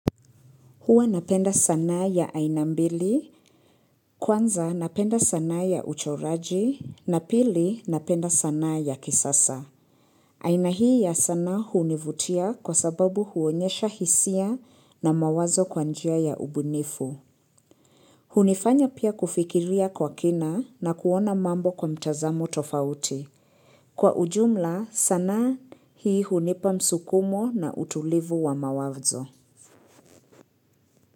Hua napenda sanaa ya aina mbili, kwanza napenda sanaa ya uchoraji, na pili napenda sanaa ya kisasa. Aina hii ya sanaa hunivutia kwa sababu huonyesha hisia na mawazo kwa njia ya ubunifu. Hunifanya pia kufikiria kwa kina na kuona mambo kwa mtazamo tofauti. Kwa ujumla sanaa hii hunipa msukumo na utulivu wa mawazo.